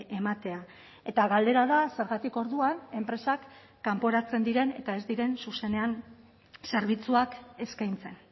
ematea eta galdera da zergatik orduan enpresak kanporatzen diren eta ez diren zuzenean zerbitzuak eskaintzen